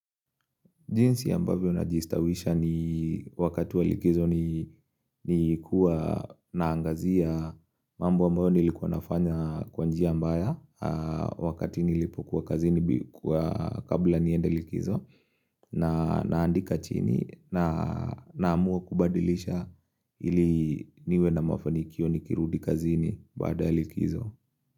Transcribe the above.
Jinsi ambavyo na jistawisha ni wakati wa likizo ni kuwa naangazia mambo ambayo nilikuwa nafanya kwa njia mbaya wakati nilipokuwa kazini kabla nienda likizo na naandika chini na Ninamua kubadilika ili niwe na mafanikio nikirudi kazini baada ya likizo.